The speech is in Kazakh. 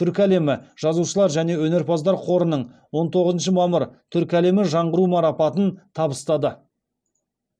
түркі әлемі жазушылар және өнерпаздар қорының он тоғызыншы мамыр түркі әлемі жаңғыруы марапатын табыстады